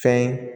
Fɛn ye